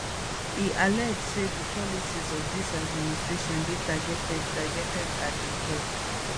e allege say di policies of dis administration dey targeted targeted at di poor